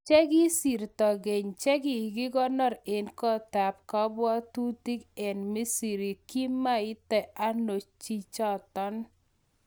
cheki sirto keny chekigikonor en koot-ap kabwatutik en Misiri , kimeita ano chichaton?